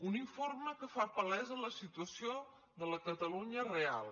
un informe que fa palesa la situació de la catalunya real